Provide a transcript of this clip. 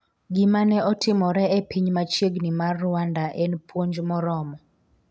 gima ne otimore e piny machiegni mar Rwanda en puonj moromo''